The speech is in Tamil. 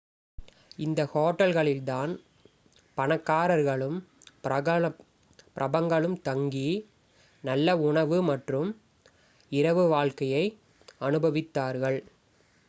இந்த ஹோட்டல்களில் தான் பணக்காரர்களும் பிரபலங்களும் தங்கி நல்ல உணவு மற்றும் இரவு வாழ்க்கையை அனுபவித்தார்கள்